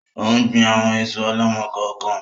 Ò ń gbìn àwọn èso ọ̀lọ́mọ-kọọ-kan